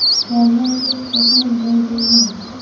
davlat hech qachon boy bo‘lmaydi.